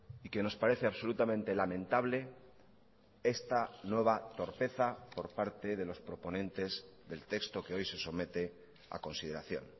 y que nos parece absolutamente lamentable esta nueva torpeza por parte de los proponentes del texto que hoy se somete a consideración